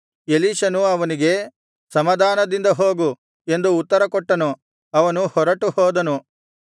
ಎಲೀಷನು ಅವನಿಗೆ ಸಮಾಧಾನದಿಂದ ಹೋಗು ಎಂದು ಉತ್ತರ ಕೊಟ್ಟನು ಅವನು ಹೊರಟುಹೋದನು